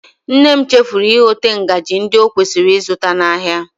Nne m chefuru igote ngaji ndị o kwesịrị ịzụta n'ahịa